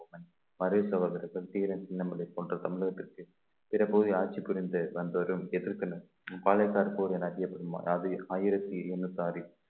தீரன் சின்னமலை போன்ற தமிழகத்திற்கு பிற பகுதி ஆட்சி புரிந்து வந்தவரும் எதிர்த்தனர் தற்போது அதியப்பெருமாள் ஆயிரத்தி எண்ணூத்தி ஆறில்